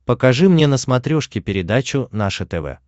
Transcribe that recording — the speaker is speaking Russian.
покажи мне на смотрешке передачу наше тв